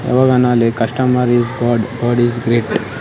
ಯವಗಾನಾಲಿ customer is god god is great .